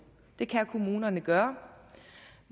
det kan kommunerne gøre